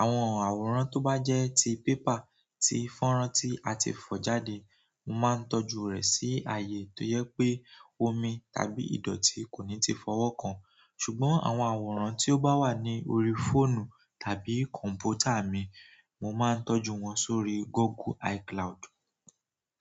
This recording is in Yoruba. Àwọn àwòrán tó bá jẹ́ ti paper ti fọ́nrán tí a ti fọ̀ jáde, mo máa ń tọ́jú rẹ̀ sí ààyè tó jẹ pé omi tàbí ìdọ̀tí kò ní ti fọwọ́ kan. Ṣùgbọ́n àwọn àwòrán tí ó bá wà ní orí fóònù tàbí kọ̀m̀pútà mi, mo máa ń tọ́jú wọn sórí Google iCloud.